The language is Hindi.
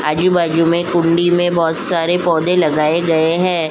आजू-बाजू में कुंडी में बहोत सारे पौधे लगाए गए है।